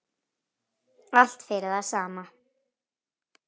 Allt fyrir það sama.